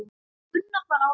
Gunnar var ásamt